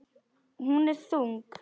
Hún er þung.